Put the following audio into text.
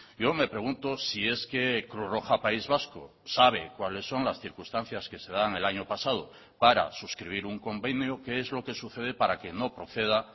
yo me pregunto si es que cruz roja país vasco sabe cuáles son las circunstancias que se dan el año pasado para suscribir un convenio qué es lo que sucede para que no proceda